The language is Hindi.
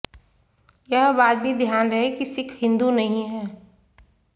यह बात भी ध्यान रहे कि सिख हिंदू नहीं हैं